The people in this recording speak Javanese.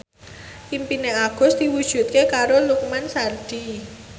impine Agus diwujudke karo Lukman Sardi